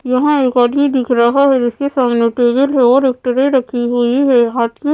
यहाँ एक आदमी दिख रहा है जिसके सामने टेबल है और एक ट्रे रखी हुई है हाथ में --